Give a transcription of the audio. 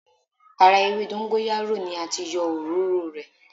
Ara ewé dọ́ńgóráyò ni a ti yọ òróró o rẹ̀.